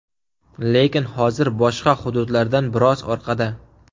Lekin hozir boshqa hududlardan biroz orqada.